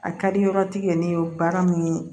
A ka di yɔrɔtigi ye ne ye baara min